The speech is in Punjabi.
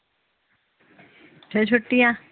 ਫੇਰ ਛੁਟੀਆਂ